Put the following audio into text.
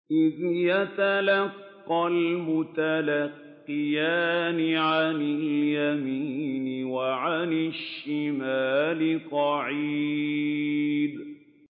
إِذْ يَتَلَقَّى الْمُتَلَقِّيَانِ عَنِ الْيَمِينِ وَعَنِ الشِّمَالِ قَعِيدٌ